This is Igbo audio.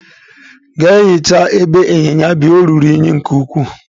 Gaa hichaa ebe inyinya bi, ọ ruru unyi nke ukwuu!